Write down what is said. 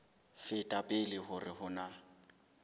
feta pele hore ho na